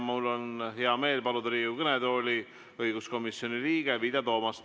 Mul on hea meel paluda Riigikogu kõnetooli õiguskomisjoni liige Vilja Toomast.